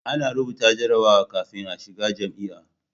A na rubuta jarrabawa kafin a shiga jami'a